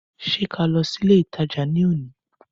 Ṣé ká lọ sí ilé ìtajà ní òní